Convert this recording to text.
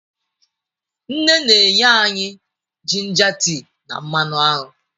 Nne na-enye anyị jinja tea na mmanụ aṅụ.